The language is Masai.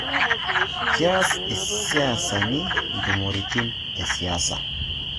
Keas isiasani intumoreitin esiasa